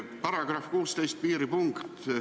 § 16, piiripunkt.